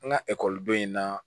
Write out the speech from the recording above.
An ka ekɔliden na